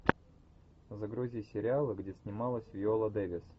загрузи сериалы где снималась виола дэвис